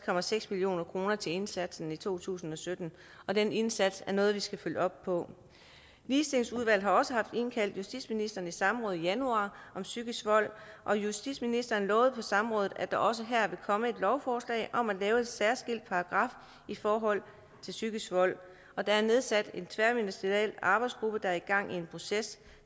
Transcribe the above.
million kroner til indsatsen i to tusind og sytten og den indsats er noget vi skal følge op på ligestillingsudvalget har også haft indkaldt justitsministeren i samråd i januar om psykisk vold og justitsministeren lovede på samrådet at der også her vil komme et lovforslag om at lave en særskilt paragraf i forhold til psykisk vold og der er nedsat en tværministeriel arbejdsgruppe der er i gang med en proces